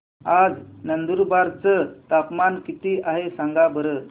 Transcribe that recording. आज नंदुरबार चं तापमान किती आहे सांगा बरं